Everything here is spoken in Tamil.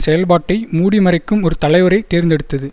செயல்பாட்டை மூடி மறைக்கும் ஒரு தலைவரை தேர்ந்தெடுத்தது